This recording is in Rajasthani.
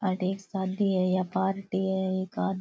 आठ एक शादी है या पार्टी है एक आदमी --